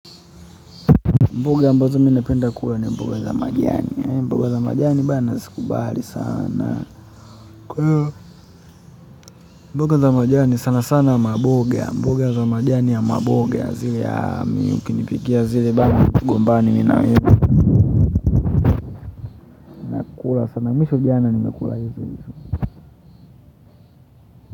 Mboga ambazo mi napenda kula ni mboga za majani hizo mboga za majani bana nakubali sana kwaivo mboga za majani sana sana maboga mboga za majani za maboga zile ya ukinipikia zile vile kula sana mwisho jana nimekula hizo hizo.